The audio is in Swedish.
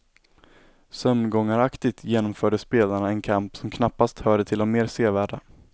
Sömngångaraktigt genomförde spelarna en kamp som knappast hörde till de mer sevärda.